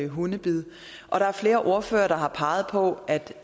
hundebid og der er flere ordførere der har peget på at